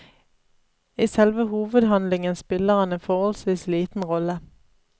I selve hovedhandlingen spiller han en forholdsvis liten rolle.